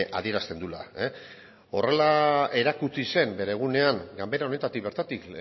adierazten duela horrela erakutsi zen bere egunean ganbera honetatik bertatik